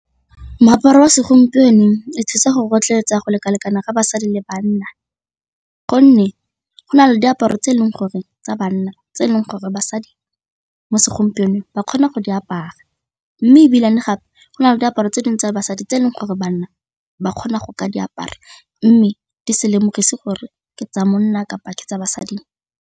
Moaparo wa segompieno e thusa go rotloetsa go leka-lekana ga basadi le bana gonne go na le diaparo tse e leng gore tsa banna tse e leng gore basadi mo segompienong fa ba kgona go di apaya mme ebile gape go na le diaparo tse dingwe tsa basadi tse e leng gore banna ba kgona go ka diaparo mme di se lemogisa gore ke tsa monna kapa ke tsa basadi.